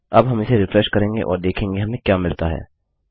अब हम इसे रिफ्रेश करेंगे और देखें हमें क्या मिलता है